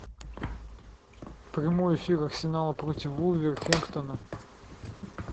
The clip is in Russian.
прямой эфир арсенала против вулверхэмптона